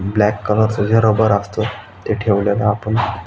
black colour च जे rubber असत ते ठेवलेल आपण--